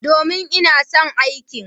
Domin, ina son aikin.